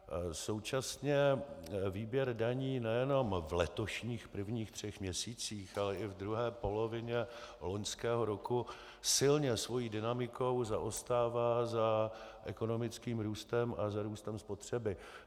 Současně výběr daní nejenom v letošních prvních třech měsících, ale i v druhé polovině loňského roku silně svou dynamikou zaostává za ekonomickým růstem a za růstem spotřeby.